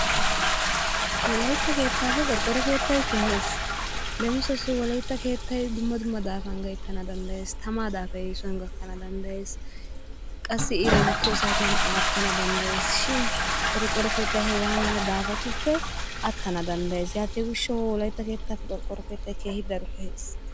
Wolaytta keettaappe qorqqoro keettay kehees. Leemisuwassi wolaytta keettay dumma dumma daafan gayttana danddayees, tamaa daafay eesuwan gakkana danddayees, qassi iray bukkiyo saatiyan aattana danddayees shin qorqqoro keettay hegaa mala daafatuppe attana danddayees. Yaatiyo gishshawu wolaytta keettaappe qorqqoro keettay keehi daro kehees.